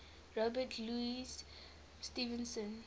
robert louis stevenson